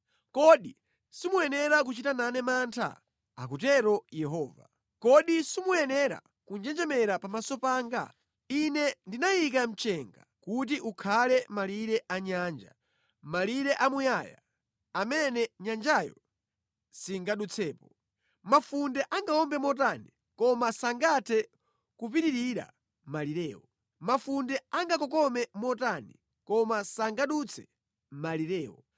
Kodi simuyenera kuchita nane mantha?” Akutero Yehova. “Kodi simuyenera kunjenjemera pamaso panga? Ine ndinayika mchenga kuti ukhale malire a nyanja, malire a muyaya amene nyanjayo singadutsepo. Mafunde angawombe motani, koma sangathe kupitirira malirewo; mafunde angakokome motani, koma sangadutse malirewo.